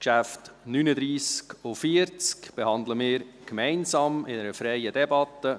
Wir behandeln die Traktanden 39 und 40 gemeinsam, in einer freien Debatte: